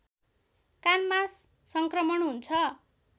कानमा सङ्क्रमण हुन्छ